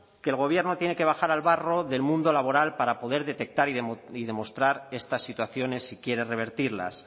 que el gobierno tiene que bajar al barro del mundo laboral para poder detectar y demostrar estas situaciones si quiere revertirlas